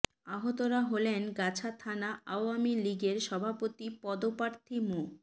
আহতরা হলেন গাছা থানা আওয়ামী লীগের সভাপতি পদপ্রার্থী মো